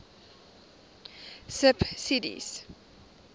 subsidies